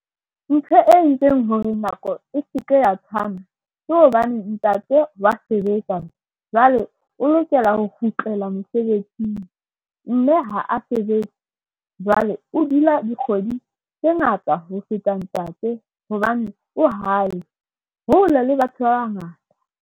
Ntho e entseng hore nako e seke ya tshwana ke hobane ntate wa sebetsa jwale, o lokela ho kgutlela mosebetsing. Mme ha a sebetse, jwale o dula dikgwedi tse ngata ho feta ntate hobane o hae hole le batho ba bangata.